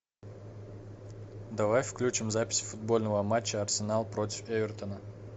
давай включим запись футбольного матча арсенал против эвертона